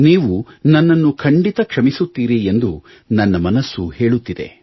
ನೀವು ನನ್ನನ್ನು ಖಂಡಿತ ಕ್ಷಮಿಸುತ್ತೀರಿ ಎಂದು ನನ್ನ ಮನಸ್ಸು ಹೇಳುತ್ತಿದೆ